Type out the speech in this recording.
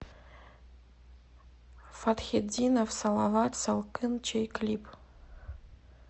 фатхетдинов салават салкын чэй клип